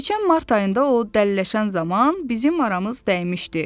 Keçən mart ayında o dəliləşən zaman bizim aramız dəymişdi.